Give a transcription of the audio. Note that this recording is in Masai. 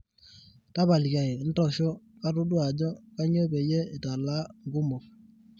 tapalikiaki ntosho katodua ajo kainyoo peyie italaa nkumok